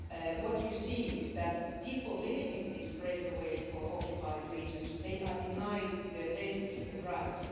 What you see is that people living in these breakaway' or occupied' regions are denied their basic human rights.